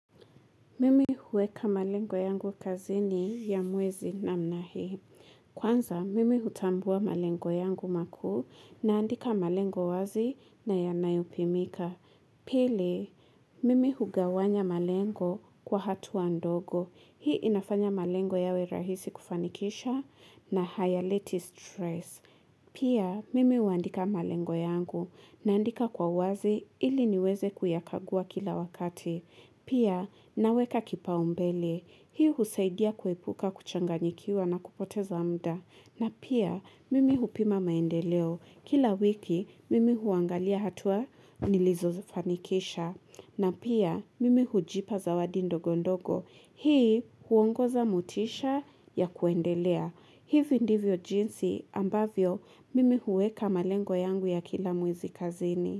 Mimi huweka malengo yangu kazini ya mwezi namna hii. Kwanza, mimi hutambua malengo yangu makuu naandika malengo wazi na yanayopimika. Pili, mimi hugawanya malengo kwa hatua ndogo. Hii inafanya malengo yawe rahisi kufanikisha na hayaleti stress. Pia, mimi huandika malengo yangu naandika kwa uwazi ili niweze kuyakagua kila wakati. Pia, naweka kipaumbele. Hii husaidia kuepuka kuchanganyikiwa na kupoteza muda. Na pia, mimi hupima maendeleo. Kila wiki, mimi huangalia hatua nilizofanikisha. Na pia, mimi hujipa zawadi ndogondogo. Hii huongoza motisha ya kuendelea. Hivi ndivyo jinsi ambavyo, mimi huweka malengo yangu ya kila mwezi kazini.